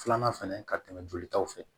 Filanan fɛnɛ ka tɛmɛ jolitaw fɛ